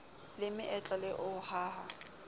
le meetlo le ho haha